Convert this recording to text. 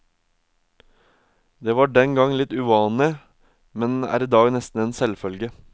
Det var den gang litt uvanlig, men er i dag nesten en selvfølge.